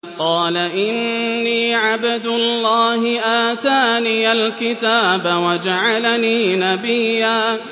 قَالَ إِنِّي عَبْدُ اللَّهِ آتَانِيَ الْكِتَابَ وَجَعَلَنِي نَبِيًّا